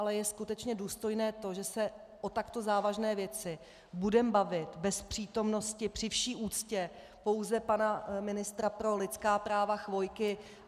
Ale je skutečně důstojné to, že se o takto závažné věci budeme bavit bez přítomnosti, při vší úctě, pouze pana ministra pro lidská práva Chvojky?